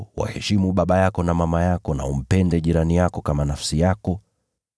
waheshimu baba yako na mama yako, na umpende jirani yako kama nafsi yako.”